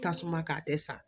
Tasuma k'a tɛ sa